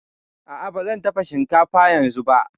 A'a, ba zan dafa shinkafa yanzu ba